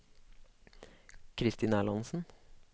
Kristin Erlandsen